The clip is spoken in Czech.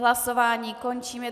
Hlasování končím.